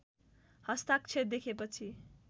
हस्ताक्षर देखे पछि